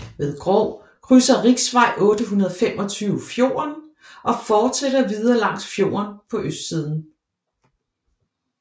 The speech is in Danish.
Ved Grov krydser Riksvei 825 fjorden og fortsætter videre langs fjorden på østsiden